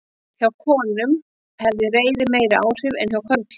hjá konum hafði reiðin meiri áhrif en hjá körlum